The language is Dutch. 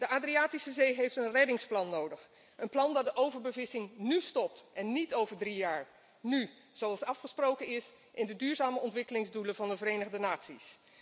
De Adriatische Zee heeft een reddingsplan nodig, een plan dat de overbevissing nú stopt en niet over drie jaar, nú, zoals afgesproken is in de duurzame ontwikkelingsdoelen van de Verenigde Naties.